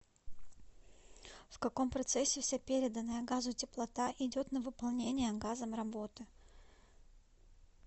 в каком процессе вся переданная газу теплота идет на выполнение газом работы